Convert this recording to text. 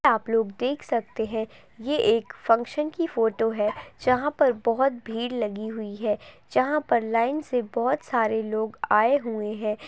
आप लोग देख सकते है ये एक फंक्शन की फोटो है जहाँ पर बहुत भीड़ लगी हुई है जहाँ पर लाइन से बहुत सारे लोग आए हुए है।